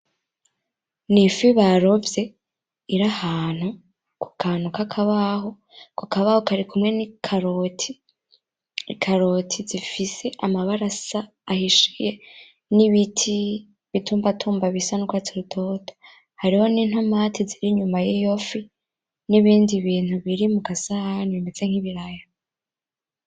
Nifi barovye iri ahantu kukantu nkakabaho , Ako kabaho karikumwe nikaroti , ikaroti zifise amabara asa ahishiye nibiti , ibitumbatumba bisa nurwatsi rutoto, hariho nintomati ziri inyuma yiyofi , nibindi Bintu biri mugasahani bimeze nkibiraya .